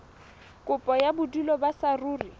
kopo ya bodulo ba saruri